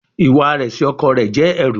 Iwa rẹ si ọkọ rẹ jẹ ẹru